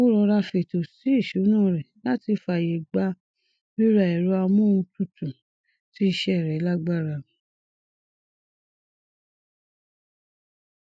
ó rọra fètò sí ìṣúná rẹ láti fààyè gbà rírà ẹrọ amóhuntutù tí iṣẹ rẹ lágbára